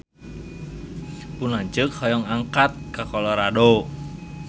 Pun lanceuk hoyong angkat ka Colorado